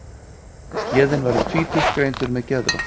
Héðinn var um tvítugt greindur með geðhvörf.